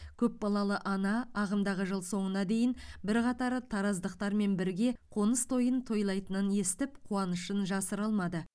көпбалалы ана ағымдағы жыл соңына дейін бірқатар тараздықтармен бірге қоныс тойын тойлайтынын естіп қуанышын жасыра алмады